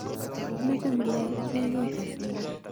kimeche ng'ulek ichegei asinai